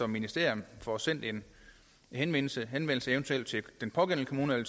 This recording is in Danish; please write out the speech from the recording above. ministeriet får sendt en henvendelse til den pågældende kommune